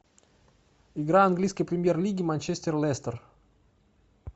игра английской премьер лиги манчестер лестер